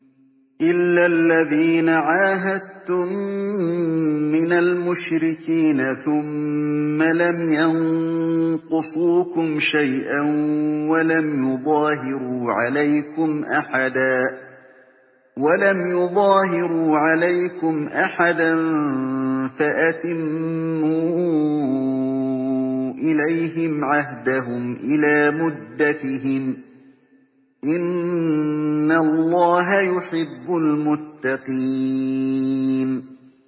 إِلَّا الَّذِينَ عَاهَدتُّم مِّنَ الْمُشْرِكِينَ ثُمَّ لَمْ يَنقُصُوكُمْ شَيْئًا وَلَمْ يُظَاهِرُوا عَلَيْكُمْ أَحَدًا فَأَتِمُّوا إِلَيْهِمْ عَهْدَهُمْ إِلَىٰ مُدَّتِهِمْ ۚ إِنَّ اللَّهَ يُحِبُّ الْمُتَّقِينَ